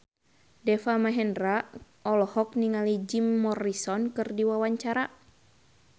Deva Mahendra olohok ningali Jim Morrison keur diwawancara